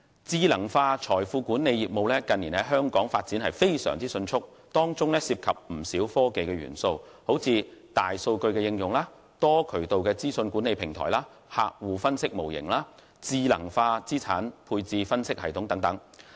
智能化財富管理業務近年在香港發展非常迅速，當中涉及不少科技元素，如大數據應用、多渠道資訊管理平台、客戶分析模型、智能化資產配置分析系統等。